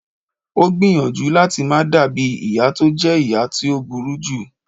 O gbìyànjú lati ma dabi iya ti o jẹ iya ti o buruju